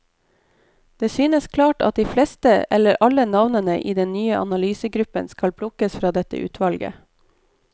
Det synes klart at de fleste eller alle navnene i den nye analysegruppen skal plukkes fra dette utvalget.